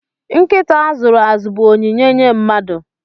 Nkịta a zụrụ azụ bụ onyinye nye mmadụ